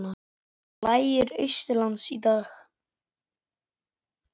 Lægir austanlands í dag